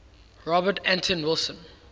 robert anton wilson